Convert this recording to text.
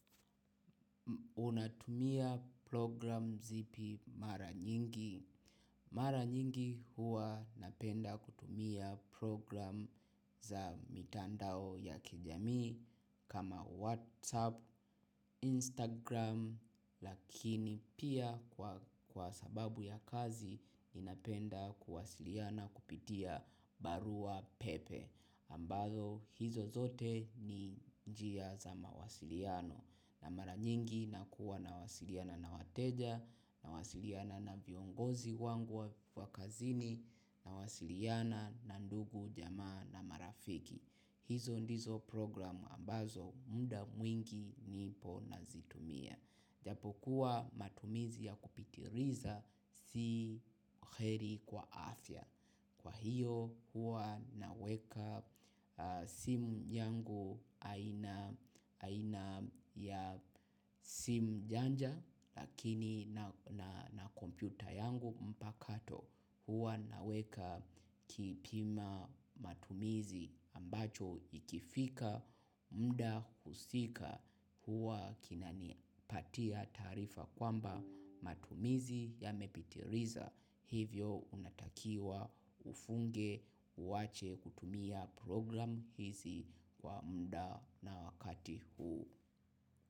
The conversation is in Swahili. Unatumia progiramu zipi mara nyingi. Mara nyingi huwa napenda kutumiya progiramu za mitandao ya kijamii kama WhatsApp, Instagram lakini pia kwa sababu ya kazi ninapenda kuwasiliana kupitia barua pepe. Ambazo hizo zote ni njia za mawasiliano na mara nyingi nakuwa na wasiliana na wateja. Nawasiliana na viongozi wangu wa kazini, nawasiliana na ndugu, jamaa na marafiki. Hizo ndizo progiramu ambazo muda mwingi nipo nazitumia. Japo kuwa matumizi ya kupitiliza si kheri kwa afya. Kwa hiyo huwa naweka simu yangu aina, aina ya simu janja lakini na kompiyuta yangu mpakato. Huwa naweka kipima matumizi ambacho ikifika muda husika huwa kinani patia taarifa kwamba matumizi ya mepitiliza hivyo unatakiwa ufunge uwache kutumia progiramu hizi kwa muda na wakati huu.